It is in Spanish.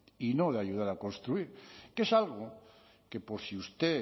y no le ayuda a construir que es algo que por si usted